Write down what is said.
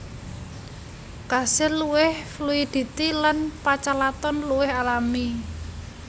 Kasil luwih fluiditi lan pachalaton luwih alami